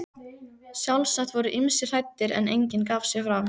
Sjálfsagt voru ýmsir hræddir, en enginn gaf sig fram.